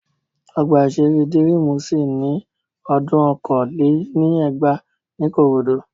Ọgbà-ìṣeré Dírímù ṣí ní odún okòó lé ní ẹgbàá ní Ìkòròdú